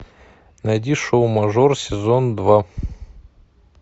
найди шоу мажор сезон два